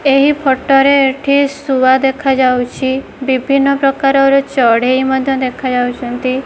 ଏହି ଫଟ ରେ ଏଠି ଶୁଆ ଦେଖାଯାଉଛି ବିଭିନ୍ନ ପ୍ରକାରର ଚଢ଼େଇ ମଧ୍ୟ ଦେଖା ଯାଉଛନ୍ତି।